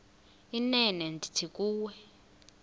inene ndithi kuwe